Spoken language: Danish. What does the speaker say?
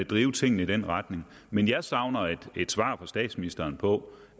drive tingene i den retning men jeg savner et svar fra statsministeren på